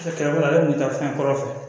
ale tun bɛ taa fɛn kɔrɔ fɛ